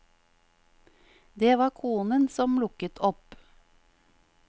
Det var konen som lukket opp.